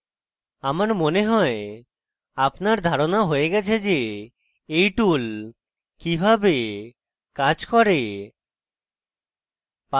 আমার মনে হয় আপনার ধারণা হয়ে গেছে যে এই tool কিভাবে কাজ করে